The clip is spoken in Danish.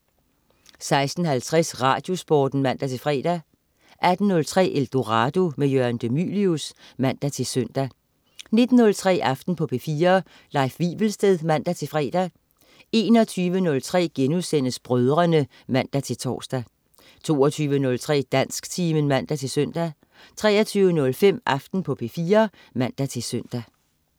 16.50 Radiosporten (man-fre) 18.03 Eldorado. Jørgen de Mylius (man-søn) 19.03 Aften på P4. Leif Wivelsted (man-fre) 21.03 Brødrene* (man-tors) 22.03 Dansktimen (man-søn) 23.05 Aften på P4 (man-søn)